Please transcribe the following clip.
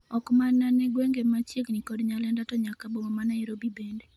ok mana ne gwenge ma chiegni kod Nyalenda to nyaka boma ma Nairobi bende